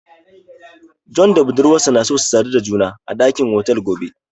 John da budurwarsa na so su sadu da juna a dakin otel gobe.